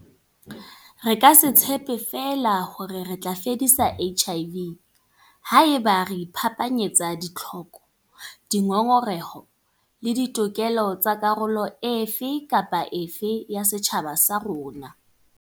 Re ka se tshepe feela hore re tla fedisa HIV haeba re iphapanyetsa ditlhoko, dingongoreho le ditokelo tsa karolo e fe kapa e fe ya setjhaba sa rona.